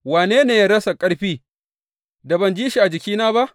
Wane ne ya rasa ƙarfi, da ban ji shi a jikina ba?